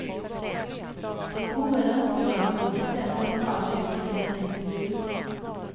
Det vore en önskedröm att någon svensk kanal köper in denna intervju.